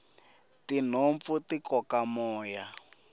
tinhompfu ti koka moya